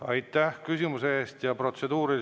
Aitäh küsimuse eest!